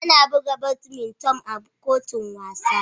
Ana buga badminton a kotun wasa.